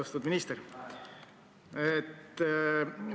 Austatud minister!